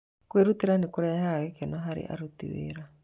Kwĩrutĩra nĩ kũrehaga gĩkeno harĩ aruti wĩra.